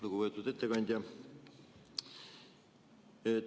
Lugupeetud ettekandja!